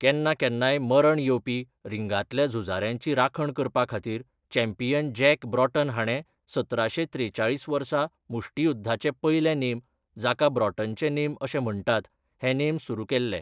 केन्ना केन्नाय मरण येवपी रिंगांतल्या झुजाऱ्यांची राखण करपाखातीर चॅम्पियन जॅक ब्रॉटन हाणें सतराशें त्रेचाळीस वर्सा मुष्टियुध्दाचे पयले नेम, जाका ब्रॉटनचे नेम अशें म्हण्टात, हे नेम सुरू केल्ले.